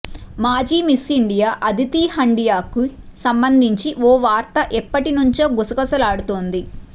మాజీ Miss India Aditi హండియాకి సంబంధించి ఓ వార్త ఎప్పటి నుంచో గుసగుసలాడుతోంది